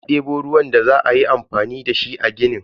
Ya debo ruwan da za ayi amfani dashi a ginin.